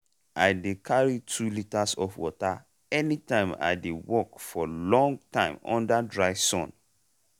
i dey carry two litres of water anytime i dey work for long time under dry sun.